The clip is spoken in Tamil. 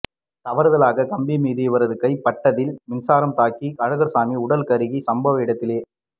தவறுதலாக கம்பி மீது இவரது கை பட்டதில்மின்சாரம் தாக்கி அழகர்சாமி உடல்கருகி சம்பவ இடத்திலேயே